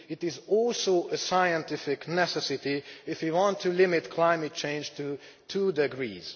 it is also a scientific necessity if we want to limit climate change to two degrees.